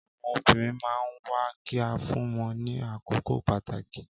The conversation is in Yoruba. Àwọn obìrin man nwa ki a fún wọn ní àkókò pàtàkì